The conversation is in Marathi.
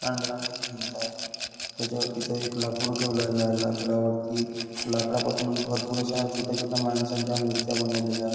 पांढऱ्या रंगाची भिंत आहे त्याच्या तिथं एक लाकूड ठेवलेलं आहे लाकडा वरती लाकडापासूनच भरपुर अश्या छोट्या छोट्या माणसांच्या मुर्त्या बनवलेल्या आहेत.